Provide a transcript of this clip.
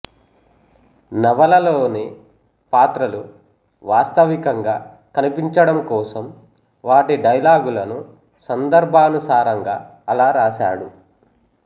నవలలోని పాత్రలు వాస్తవికంగా కనిపించడం కోసం వాటి డైలాగులను సందర్భానుసారంగా అలా రాశాడు